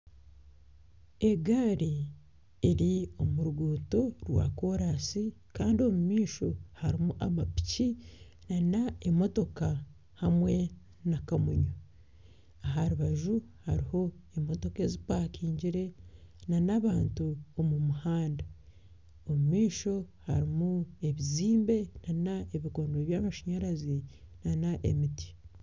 Egari eri omu ruguuto rwa koransi Kandi omu maisho harumu amapiki nana emotoka hamwe na kamunye. Aha rubaju hariho emotoka ezipakingire nana abantu omu muhanda. Omu maisho harumu ebizimbe nana ebikondo by'amashanyarazi nana emiti.